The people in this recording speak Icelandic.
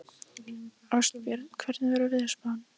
Ástbjörn, hvernig er veðurspáin?